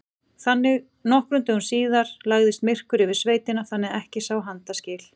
Nokkrum dögum síðar lagðist myrkur yfir sveitina þannig að ekki sá handa skil.